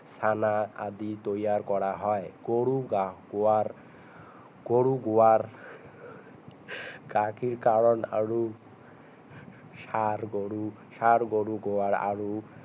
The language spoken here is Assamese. চানা আদি তৈয়াৰ কৰা হয় গৰুৰ গোবৰ গৰুৰ গোবৰ গাখিৰ কাৰণ আৰু ষাৰ গৰু ষাৰ গৰু গোৱৰ আৰু